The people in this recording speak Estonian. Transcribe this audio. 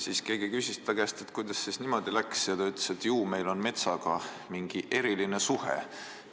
Siis keegi küsis ta käest, kuidas siis niimoodi läks, ja ta ütles, et ju neil on metsaga mingi eriline suhe.